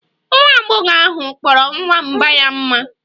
Nwa agbọghọ ahụ kpọrọ nwamba ya mma